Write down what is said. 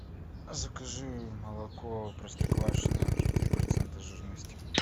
закажи молоко простоквашино три процента жирности